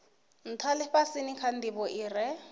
ntha lifhasini kha ndivho ire